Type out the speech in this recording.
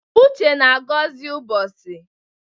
Uche na-agọzi ụbọchị.